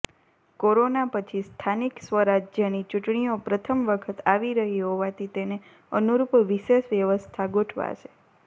corona પછી સ્થાનિક સ્વરાજ્યની ચૂંટણીઓ પ્રથમ વખત આવી રહી હોવાથી તેને અનુરૂપ વિશેષ વ્યવસ્થા ગોઠવાશે